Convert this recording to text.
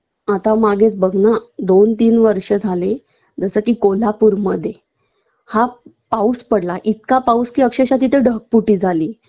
आता मागेच बघ ना दोन तीन वर्ष झाले जस की कोल्हापूरमध्ये हा पाऊस पडला इतका पाऊस कि अक्षरशः तिथं ढगफुटी झाली